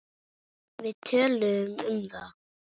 Við töluðum um það.